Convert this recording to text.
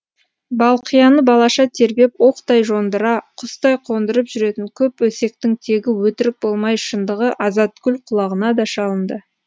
балқияны балаша тербеп оқтай жондыра құстай қондырып жүретін көп өсектің тегі өтірік болмай шындығы азатгүл құлағына да шалынды